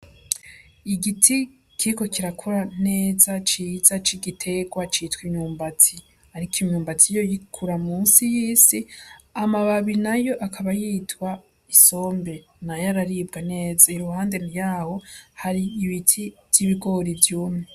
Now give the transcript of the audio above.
Igiti kiriko kirakura neza ciza cigiterwa citwa inyumbati, ariko inyumbati yoyo ikura musi y'isi. Amababi nayo akaba yitwa isombe nayo araribwa neza. Iruhande ryaho hari ibiti vy’ibigori vyumye.